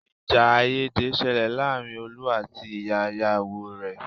Ìjà àìyédè ṣẹlẹ̀ láàárín Olú àti ìyá ìyàwó rẹ̀.